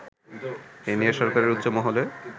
এ নিয়ে সরকারের উচ্চ মহলে